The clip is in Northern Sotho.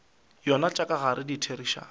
yona tša ka gare ditherišano